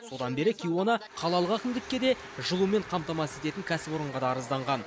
содан бері кейуана қалалық әкімдікке де жылумен қамтамасыз ететін кәсіпорынға да арызданған